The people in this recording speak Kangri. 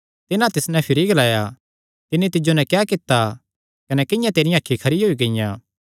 तिन्हां तिस नैं भिरी ग्लाया तिन्नी तिज्जो नैं क्या कित्ता कने किंआं तेरियां अखीं खरी होई गियां